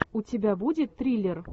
у тебя будет триллер